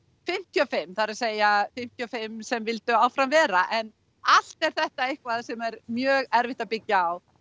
fimmtíu og fimm það er að segja fimmtíu og fimm sem vildu áfram vera en allt er þetta eitthvað sem er mjög erfitt að byggja á